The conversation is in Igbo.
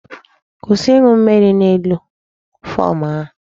Kwụsị ịṅụ mmiri n'elu fom ahụ!